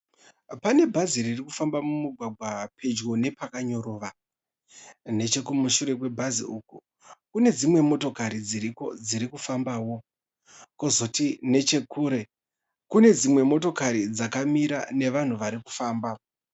Pane bhazi ririkufamba mumigwagwa pedyo nepakanyorova. Nechekumashure kwebhazi uku kune dzimwe motokari dziriko dziri kufambawo. Kozoti nechekure kune dzimwe motokari dzakamira nevanhu vari kufamba.